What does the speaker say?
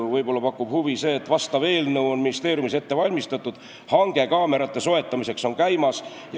Võib-olla pakub huvi see, et vastav eelnõu on ministeeriumis ette valmistatud, hange kaamerate soetamiseks on käimas.